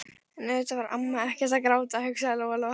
En auðvitað var amma ekkert að gráta, hugsaði Lóa Lóa.